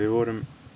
vorum